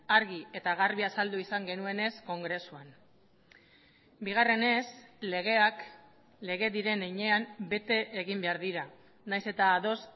argi eta garbi azaldu izan genuenez kongresuan bigarrenez legeak lege diren heinean bete egin behar dira nahiz eta ados